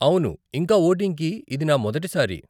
అవును, ఇంకా వోటింగ్ కి ఇది నా మొదటి సారి .